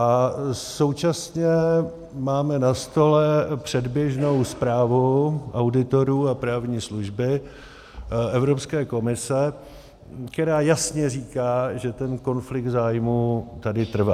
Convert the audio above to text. A současně máme na stole předběžnou zprávu auditorů a právní služby Evropské komise, která jasně říká, že ten konflikt zájmů tady trvá.